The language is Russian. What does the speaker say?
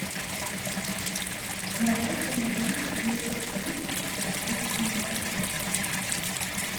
давай поиграем в детектив каттиндер